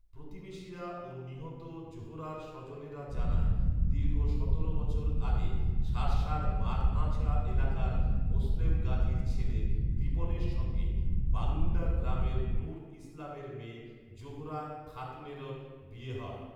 প্রতিবেশিরা ও নিহত জোহরার স্বজনেরা জানায়, দীর্ঘ সতেরো বছর আগে শার্শার বাগআঁচড়া এলাকার মোসলেম গাজীর ছেলে রিপনের সঙ্গে বালুন্ডা গ্রামের নুর ইসলামের মেয়ে জোহরা খাতুনেরর বিয়ে হয়